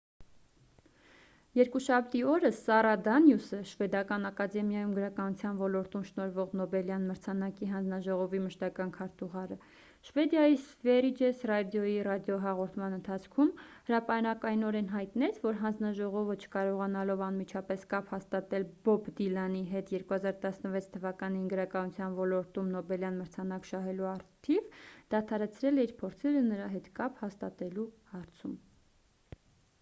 երկուշաբթի օրը սառա դանիուսը շվեդական ակադեմիայում գրականության ոլորտում շնորհվող նոբելյան մրցանակի հանձնաժողովի մշտական քարտուղարը շվեդիայի սվերիջես ռադիոյի ռադիոհաղորդման ընթացքում հրապարակայնորեն հայտնեց որ հանձնաժողովը չկարողանալով անմիջապես կապ հաստատել բոբ դիլանի հետ 2016 թվականին գրականության ոլորտում նոբելյան մրցանակ շահելու առթիվ դադարեցրել է իր փորձերը նրա հետ կապ հաստատելու հարցում